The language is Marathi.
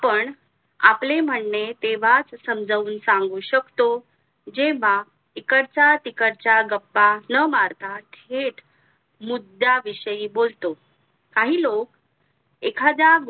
पण आपले म्हणे तेव्हाच समजून सांगू शकतो जेव्हा इकडच्या तीकडच्या गप्प्पा न मारता थेट मुद्या विषयी बोलतो. काही लोक एखाद्या